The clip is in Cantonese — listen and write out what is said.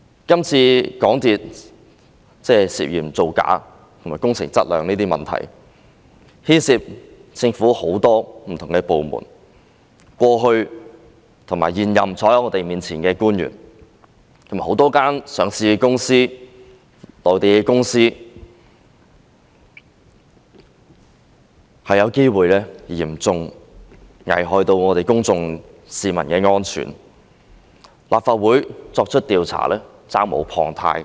這次港鐵公司涉嫌造假和工程質量的問題，牽涉到政府很多不同部門，過去和坐在我們面前的現任官員，以及多間上市公司和內地公司都有機會嚴重危害公眾安全，立法會作出調查是責無旁貸的。